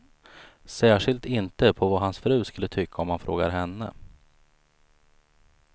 Särskilt inte på vad hans fru skulle tycka om man frågar henne.